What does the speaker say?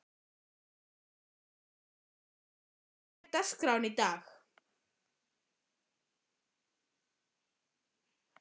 Sigurmar, hvernig er dagskráin í dag?